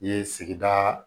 Ye sigida